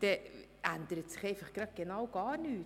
dann ändert sich genau gar nichts.